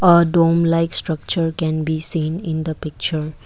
adom like structure can be seen in the picture.